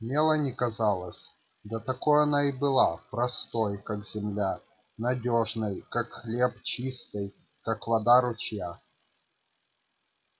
мелани казалась да такой она и была простой как земля надёжной как хлеб чистой как вода ручья